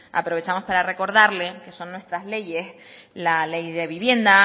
aprovechamos para recordarle que son nuestras leyes la ley de vivienda